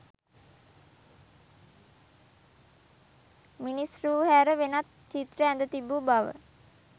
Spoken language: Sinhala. මිනිස් රූ හැර වෙනත් චිත්‍ර ඇඳ තිබූ බව